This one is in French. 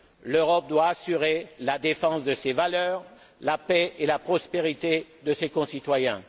L'Europe doit assurer la défense de ses valeurs, la paix et la prospérité de ses concitoyens.